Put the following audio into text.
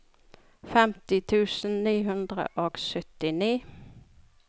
femti tusen ni hundre og syttini